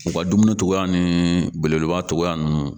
U ka dumuni cogoya ni belebeleba tɔgɔya ninnu